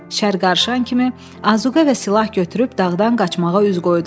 Şər qırşan kimi, azuqə və silah götürüb dağdan qaçmağa üz qoydular.